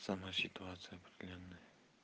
сама ситуация определённая